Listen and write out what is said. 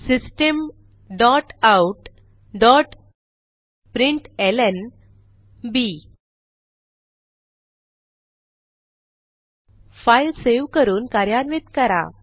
system dot out dot println file save करून कार्यान्वित करा